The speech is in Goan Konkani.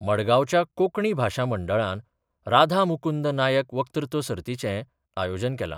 मडगावच्या कोकणी भाशा मंडळान राधा मुकुंद नायक वक्तृत्व सर्तीचे आयोजन केला.